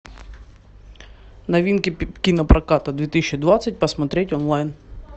новинки кинопроката две тысячи двадцать посмотреть онлайн